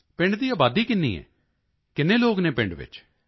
ਪਿੰਡ ਦੀ ਆਬਾਦੀ ਕਿੰਨੀ ਹੈ ਕਿੰਨੇ ਲੋਕ ਹਨ ਪਿੰਡ ਵਿੱਚ